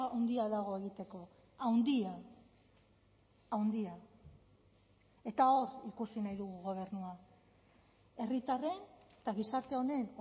handia dago egiteko handia handia eta hor ikusi nahi dugu gobernua herritarren eta gizarte honen